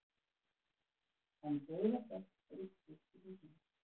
En dauðaþögn ríkti í húsinu.